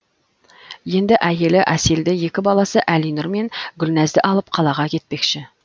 енді әйелі әселді екі баласы әлинұр мен гүлназды алып қалаға кетпекші